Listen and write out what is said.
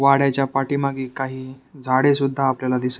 वाड्याच्या पाठीमागे काही झाडे सुद्धा आपल्याला दिस--